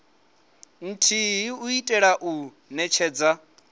nthihi u itela u netshedza